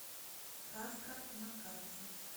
сказка на карте